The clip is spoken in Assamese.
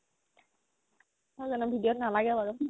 নহয় জানো video ত নালাগে বাৰু